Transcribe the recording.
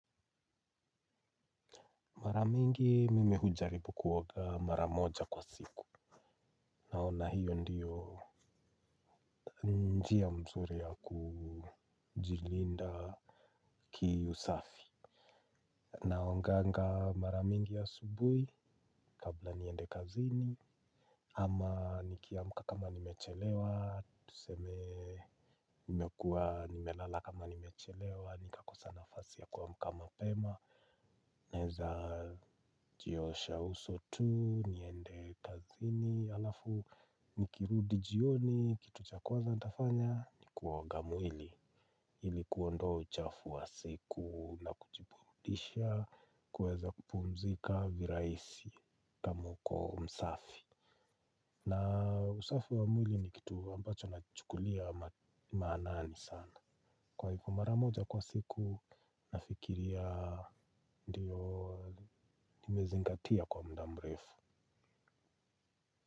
Maramingi mime hujaribu kuwoga maramoja kwa siku. Naona hiyo ndiyo njia mzuri ya kujilinda kihusafi. Naonganga maramingi asubui kabla niende kazini. Ama nikiamka kama nimechelewa tuseme nimekua nimelala kama nimechelewa. Nika kosa nafasi ya kwamkama pema. Neza jiosha uso tu niende kazini. Alafu nikirudi jioni, kitu cha kwa za ntafanya, ni kuwa woga mwili ilikuondo uchafu wa siku na kujiburudisha kuweza kupumzika viraisi kamuko msafi na usafi wa mwili ni kitu ambacho nachukulia maanaani sana kwa hivyo mara moja kwa siku, nafikiria ndiyo nimezingatia kwa muda mrefu.